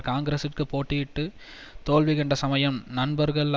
காங்கிரசுக்கு போட்டியிட்டுத் தோல்வி கண்ட சமயம் நண்பர்கள்